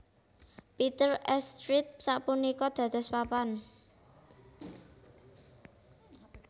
Peter s Street sapunika dados papan